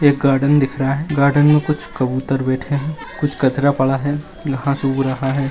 एक गार्डन दिख रहा है गार्डन में कुछ कबूतर बैठे हैं कुछ कचरा पड़ा है घास उग रहा है।